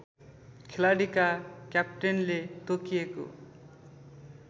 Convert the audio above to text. खेलाडीका क्याप्टेनले तोकिएको